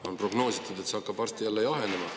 On prognoositud, et varsti hakkab jälle jahenema.